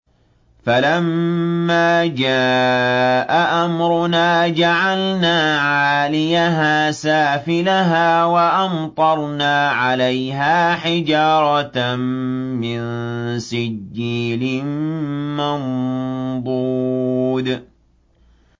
فَلَمَّا جَاءَ أَمْرُنَا جَعَلْنَا عَالِيَهَا سَافِلَهَا وَأَمْطَرْنَا عَلَيْهَا حِجَارَةً مِّن سِجِّيلٍ مَّنضُودٍ